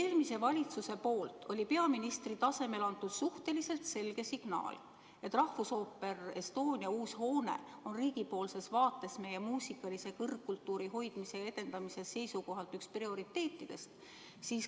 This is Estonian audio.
Eelmine valitsus andis peaministri tasemel suhteliselt selge signaali, et Rahvusooperi Estonia uus hoone on riigi vaates meie muusikaalase kõrgkultuuri hoidmise ja edendamise seisukohalt üks prioriteetidest.